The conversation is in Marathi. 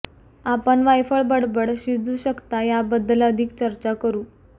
आपण वायफळ बडबड शिजू शकता याबद्दल अधिक चर्चा करू